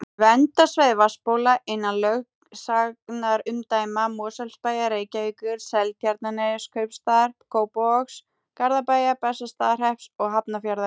Verndarsvæði vatnsbóla innan lögsagnarumdæma Mosfellsbæjar, Reykjavíkur, Seltjarnarneskaupstaðar, Kópavogs, Garðabæjar, Bessastaðahrepps og Hafnarfjarðar.